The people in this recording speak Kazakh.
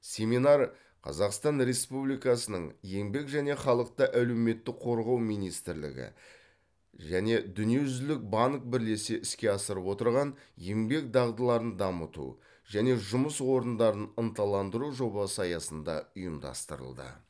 семинар қазақстан республикасының еңбек және халықты әлеуметтік қорғау министрлігі және дүниежүзілік банк бірлесе іске асырып отырған еңбек дағдыларын дамыту және жұмыс орындарын ынталандыру жобасы аясында ұйымдастырылды